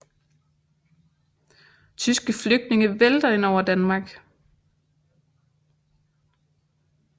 Tyske flygtninge vælter ind over Danmark